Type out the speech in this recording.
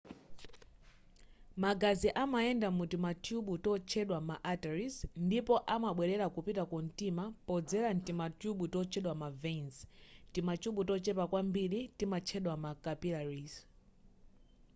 magazi amayenda mutimathyubu totchedwa ma arteries ndipo amabwelera kupita ku mtima podzera mtimathyubu totchedwa ma veins timathyubu tochepa kwambiri timatchedwa ma capillaries